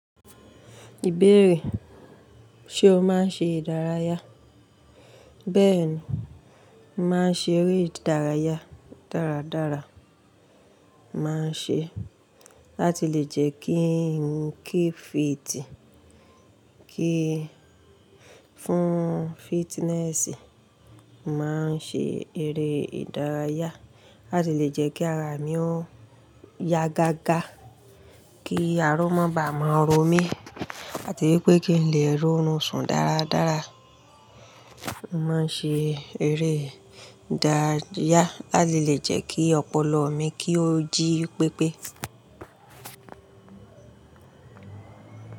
Ìbéèrè, ṣe o máa ń ṣe ìdárayá? Bẹ́ẹ̀ni, màá ń ṣe eré ìdárayá dáradára. Màá ń ṣe láti lè jẹ́ kíi, kí fítì, kí, fún fitness, màá ń ṣe eré ìdárayá láti lè jẹ́ kí ara mi ó ya gágá, kí ara ó má bàa máa ró mi, àti wípé kí n lè rórún sùn dáradára. Màá ń ṣe eré ìdárayá láti lè jẹ́ kí ọpọlọ mi, kí ó jí pépé.